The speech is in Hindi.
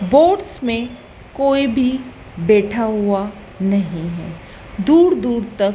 बोट्स में कोई भी बैठा हुआ नहीं है दूर दूर तक--